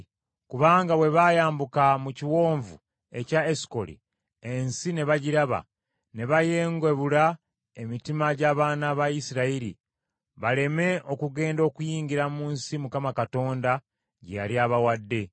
Kubanga bwe baayambuka mu Kiwonvu ekya Esukoli, ensi ne bagiraba, ne bayeengebula emitima gy’abaana ba Isirayiri baleme okugenda okuyingira mu nsi Mukama Katonda gye yali abawadde.